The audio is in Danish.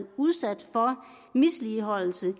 udsat for misligholdelse